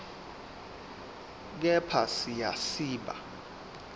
kepha siya siba